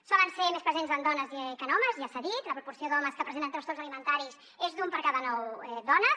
solen ser més presents en dones que en homes ja s’ha dit la proporció d’homes que presenten trastorns alimentaris és d’un per cada nou dones